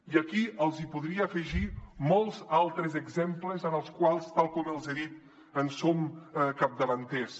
i aquí els podria afegir molts altres exemples en els quals tal com els he dit som capdavanters